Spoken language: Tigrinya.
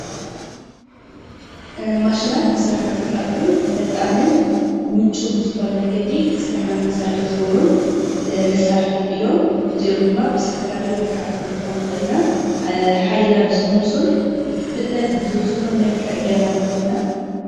ማሽናት ስራሕና ዘቃልሉን ፈጣንን ምቹው ብዝኾነ መንገዲ ስራሕና ንኽንሰርሕ ዝገብሩን መሳርሕታት እዮም፡፡ እዚኦም ድማ ብዝተፈላለየ መልክዓት ክንረክቦም ንኽእል ኢና፡፡ ሓይልና ብዝቅንሱን ፍጥነት ብዝውስኹን ጌርና ንረኽቦም ኢና ።